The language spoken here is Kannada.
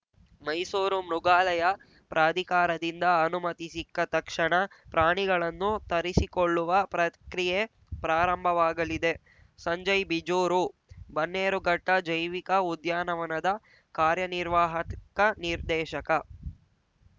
ಮೈಸೂರು ಮೃಗಾಲಯ ಪ್ರಾಧಿಕಾರದಿಂದ ಅನುಮತಿ ಸಿಕ್ಕ ತಕ್ಷಣ ಪ್ರಾಣಿಗಳನ್ನು ತರಿಸಿಕೊಳ್ಳುವ ಪ್ರಕ್ರಿಯೆ ಪ್ರಾರಂಭವಾಗಲಿದೆ ಸಂಜಯ್‌ ಬಿಜೂರು ಬನ್ನೇರುಘಟ್ಟಜೈವಿಕ ಉದ್ಯಾನವನದ ಕಾರ್ಯನಿರ್ವಾಹಕ ನಿರ್ದೇಶಕ